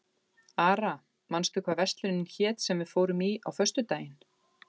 Ara, manstu hvað verslunin hét sem við fórum í á föstudaginn?